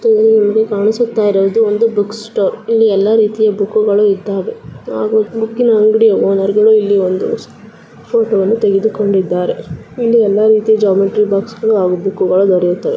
ಈ ಚಿತ್ರದಲ್ಲಿ ನಮಗೆ ಕಾಣಿಸುತ್ತ ಇರುವುದು ಒಂದು ಬುಕ್ ಸ್ಟೋರ್ ಇಲ್ಲಿ ಎಲ್ಲಾ ರೀತಿಯ ಬುಕ್ಕುಗಳು ಇದ್ದಾವೆ . ಬುಕ್ಕಿನ ಅಂಗಡಿಯ ಓನರ್ಗಳು ಇಲ್ಲಿ ಒಂದು ಫೋಟೋ ತೆಗೆದುಕೊಂಡಿದ್ದಾರೆ ಇಲ್ಲಿ ಎಲ್ಲ ರೀತಿಯ ಜಾಮಿಟ್ರಿ ಬಾಕ್ಸ್ ಬುಕ್ಕುಗಳು ದೊರೆಯುತ್ತವೆ.